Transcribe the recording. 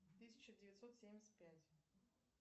тысяча девятьсот семьдесят пять